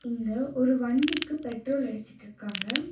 இங்க ஒரு வண்டிக்கு பெட்ரோல் அடிச்சுட்ருக்காங்க.